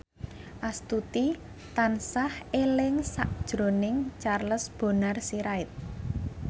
Astuti tansah eling sakjroning Charles Bonar Sirait